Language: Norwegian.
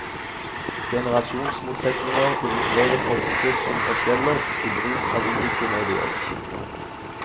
Generasjonsmotsetninger illustreres ofte som forskjeller i bruk av ulike medier.